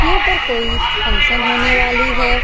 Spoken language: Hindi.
यहाँ पर कोई फंक्शन होने वाली है।